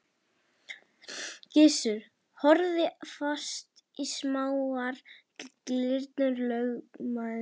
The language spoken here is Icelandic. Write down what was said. Gizur horfði fast í smáar glyrnur lögmannsins.